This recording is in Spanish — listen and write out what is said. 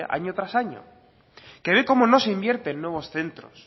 años tras año que ve como no se invierte en nuevos centros